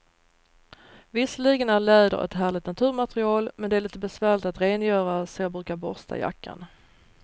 Visserligen är läder ett härligt naturmaterial, men det är lite besvärligt att rengöra, så jag brukar borsta jackan.